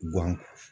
Guwan